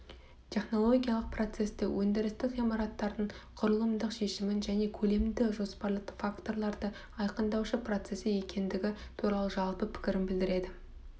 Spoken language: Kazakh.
технологиялық процесті өндірістік ғимараттың құрылымдық шешімін және көлемді жоспарлы факторларды айқындаушы процесі екендігі туралы жалпы пікірін білдіреді